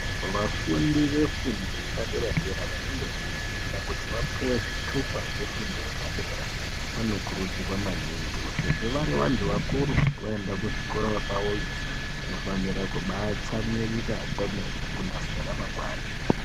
Vafundi ve fundo yepa dera dera vanenge veyi funda kuti vapuwe zvitupa zvefundo yepa dera vano kurudzirwa maningi kuti sezvo vari vantu vakuru vaenda ku zvikora kwavoyo vanofanira kubai tsamwirira kwemene kunase ra mangwani.